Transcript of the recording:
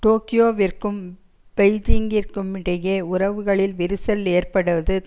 டோக்கியோவிற்கும் பெய்ஜிங்கிற்குமிடையில் உறவுகளில் விரிசல் ஏற்படுவது